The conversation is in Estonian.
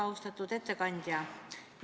Väga austatud ettekandja!